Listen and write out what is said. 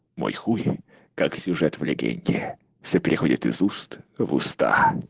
мой хуй как сюжет в легенде все переходит из уст в уста